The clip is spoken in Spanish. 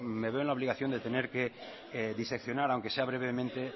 me veo en la obligación de tener que diseccionar aunque sea brevemente